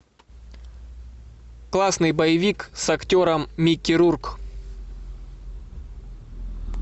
классный боевик с актером микки рурк